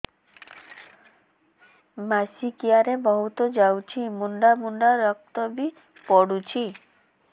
ମାସିକିଆ ରେ ବହୁତ ଯାଉଛି ମୁଣ୍ଡା ମୁଣ୍ଡା ରକ୍ତ ବି ପଡୁଛି